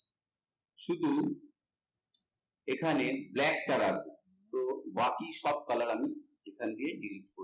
শুধু এখানে তো বাকি সব colour আমি এখান থেকে delete করে দেব